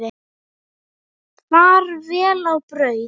Far vel á braut.